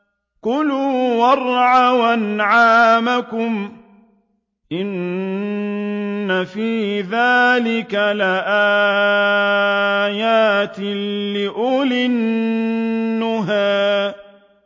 كُلُوا وَارْعَوْا أَنْعَامَكُمْ ۗ إِنَّ فِي ذَٰلِكَ لَآيَاتٍ لِّأُولِي النُّهَىٰ